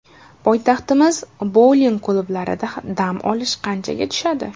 Poytaxtimiz bouling klublarida dam olish qanchaga tushadi?